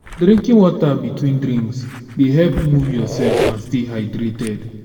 drinking water between drinks dey help move yourself and stay hydrated.